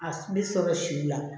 A bɛ sɔrɔ si la